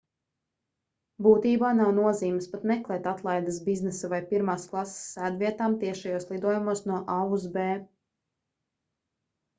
būtībā nav nozīmes pat meklēt atlaides biznesa vai pirmās klases sēdvietām tiešajos lidojumos no a uz b